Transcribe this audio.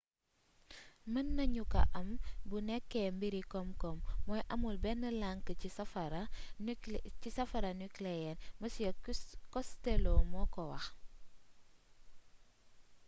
mën nañu ko am bu nekkee mbiri komkom mooy amul benn lank ci safara nuclear mr costello mooko wax